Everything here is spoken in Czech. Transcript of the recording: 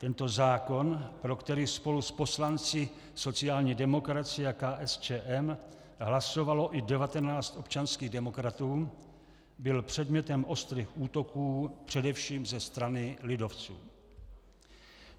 Tento zákon, pro který spolu s poslanci sociální demokracie a KSČM hlasovalo i 19 občanských demokratů, byl předmětem ostrých útoků především ze strany lidovců.